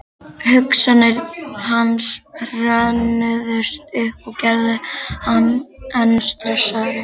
Hugsanir hans hrönnuðust upp og gerðu hann enn stressaðri.